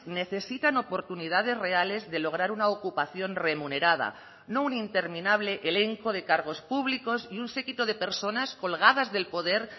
necesitan oportunidades reales de lograr una ocupación remunerada no un interminable elenco de cargos públicos y un séquito de personas colgadas del poder